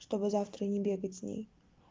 чтобы завтра не бегать с ней